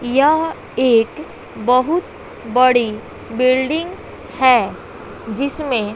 यह एक बहुत बड़ी बिल्डिंग है जिसमें--